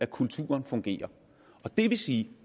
kulturen fungerer det vil sige at